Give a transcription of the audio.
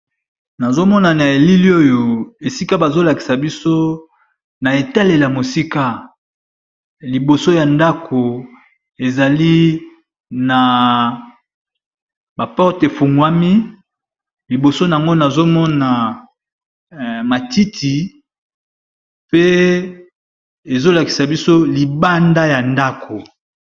Nazo mona na elili oyo esika bazo lakisa biso na etaleli ya mosika liboso ya ndako ezali na ba porte e fungwami, liboso n'ango nazo mona matiti pe ezo lakisa biso libanda ya ndako .